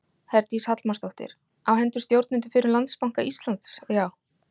Herdís Hallmarsdóttir: Á hendur stjórnendum fyrrum Landsbanka Íslands, já?